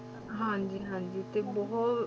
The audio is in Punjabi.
ਹਾਂਜੀ ਹਾਂਜੀ ਕਿ ਬਹੁਤ